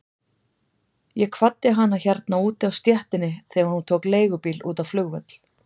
Ég kvaddi hana hérna úti á stéttinni þegar hún tók leigubíl út á flugvöll.